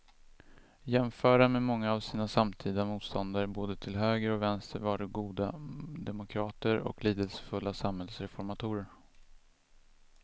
Jämförda med många av sina samtida motståndare både till höger och vänster var de goda demokrater och lidelsefulla samhällsreformatorer.